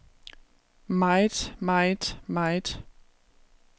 meget meget meget